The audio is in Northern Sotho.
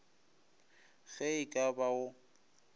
ge e ka ba go